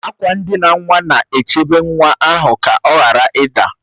Akwa ndina nwa na-echebe nwa ahụ ka ọ ghara ịda